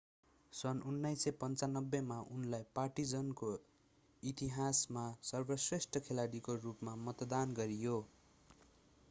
सन् 1995 मा उनलाई पार्टिजानको इतिहासमा सर्वश्रेष्ठ खेलाडीको रूपमा मतदान गरियो